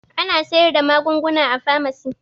Ana sayar da magunguna a famasi